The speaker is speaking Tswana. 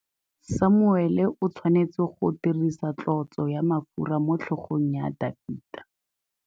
Samuele o tshwanetse go dirisa tlotsô ya mafura motlhôgong ya Dafita.